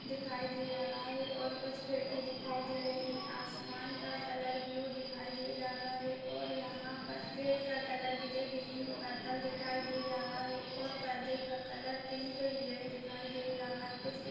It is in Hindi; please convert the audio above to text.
--दिखाई दे रहा है और कुछ खिड़की दिखाई दे रही है आसमान का कलर ब्लू दिखाई दे रहा है और यहाँ पर गेट का कलर ग्रे ग्रीन पर्पल दिखाई दे रहा है और पर्दे का कलर पिंक ग्रे दिखाई दे रहा है कुछ पे--